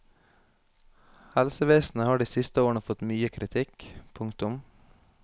Helsevesenet har de siste årene fått mye kritikk. punktum